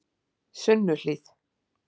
Sunnuhlíð